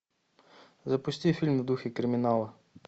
запусти фильм в духе криминала